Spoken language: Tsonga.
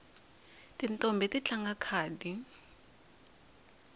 tintombhi ti tlanga khadi